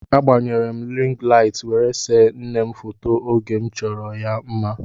A gbanyere m rịng laịt were see nne m foto oge m chọchara ya mma.